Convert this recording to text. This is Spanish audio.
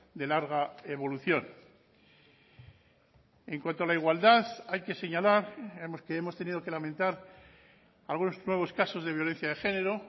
de larga evolución en cuanto a la igualdad hay que señalar que hemos tenido que lamentar algunos nuevos casos de violencia de género